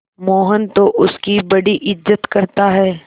मोहन तो उसकी बड़ी इज्जत करता है